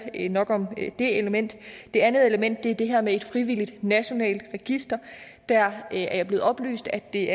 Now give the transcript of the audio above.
nok om det element det andet element er det her med et frivilligt nationalt register og der er jeg blevet oplyst at det